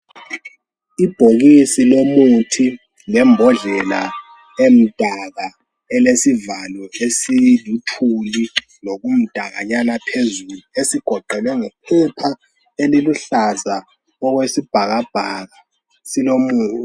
Ibhokisi lomuthi lembodlela emdaka elesivalo esiluthuli lokumdakanyana phezulu esigoqelwe ngephepha eliluhlaza okwesibhakabhaka silomu.